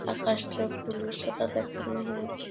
আকাশটি পুরো সাদা দেখানো হয়েছে।